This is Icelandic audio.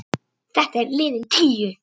Þetta er liðin tíð.